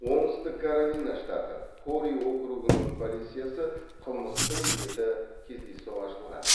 оңтүстік каролина штаты хорри округының полициясы қылмыстың беті кездейсоқ ашылған